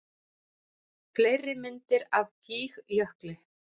Fleiri myndir af Gígjökli